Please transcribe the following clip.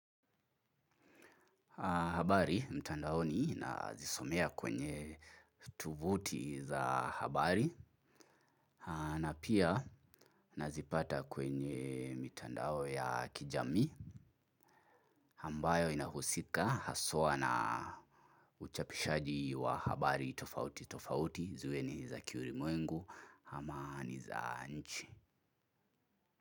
Habari mtandaoni nazisomea kwenye tovuti za habari na pia nazipata kwenye mtandao ya kijamii ambayo inahusika haswa na uchapishaji wa habari tofauti tofauti ziwe ni za kiulimwengu ama ni za nchi.